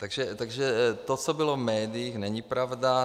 Takže to, co bylo v médiích, není pravda.